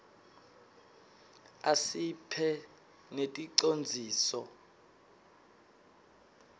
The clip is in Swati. asiphhq neticondziso